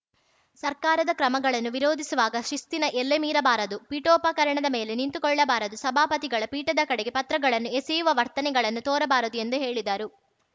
ಸರ್ಕಾರದ ಕ್ರಮಗಳನ್ನು ವಿರೋಧಿಸುವಾಗ ಶಿಸ್ತಿನ ಎಲ್ಲೆ ಮೀರಬಾರದು ಪೀಠೋಪಕರಣದ ಮೇಲೆ ನಿಂತು ಕೊಳ್ಳಬಾರದು ಸಭಾಪತಿಗಳ ಪೀಠದ ಕಡೆಗೆ ಪತ್ರಗಳನ್ನು ಎಸೆಯುವ ವರ್ತನೆಗಳನ್ನು ತೋರಬಾರದು ಎಂದು ಹೇಳಿದರು